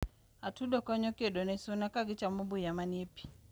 atudo konyo kedone suna kagichamo buya manie pii